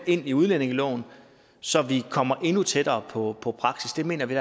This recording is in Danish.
ind i udlændingeloven så vi kommer endnu tættere på på praksis der mener vi